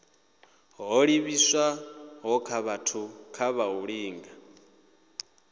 ho livhiswaho kha u linga